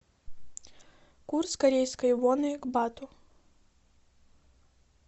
курс корейской воны к бату